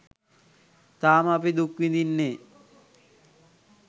තාම අපි දුක් විදින්නේ.